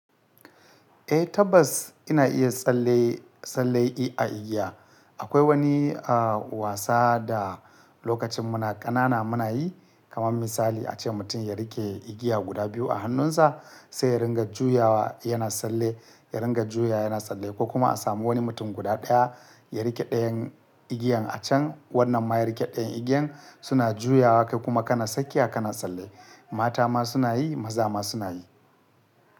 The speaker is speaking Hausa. Eh tabbas ina iya tsalle tsalle i a igiya. Akwai wani a wasa da lokacin muna ƙanana muna yi kamar misali ace mutum ya rike igiya guda biyu a hannunsa sai ya ringa juyawa yana tsalle, ya ringa juyawa yana tsalle ko kuma a samu wani mutum guda ɗaya ya rike ɗayan igiyan a can wannan ma ya rike ɗayan igiyan suna juyawa kai kuma kana sakiya kana tsalle. Mata ma suna yi maza ma suna yi.